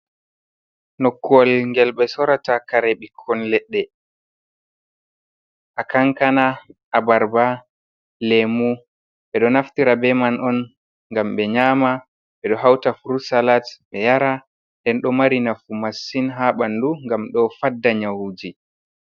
Nokkuwel ngel ɓe sorata kare ɓikkon leɗɗe. A kankana, a barba, lemu. Ɓe ɗo naftira be man on gam ɓe nyama. Ɓe ɗo hauta friut salat ɓe yara nden ɗo mari nafu masin ha ɓandu ngam ɗo fadda nyawuji.